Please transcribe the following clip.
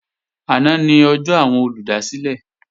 Àná ni ọjọ́ àwọn olùdásílẹ̀